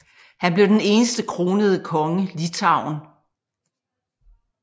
Han blev den eneste kronede konge Litauen